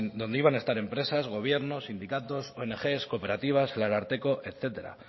donde iban a estar empresas gobiernos sindicatos ong cooperativas el ararteko etcétera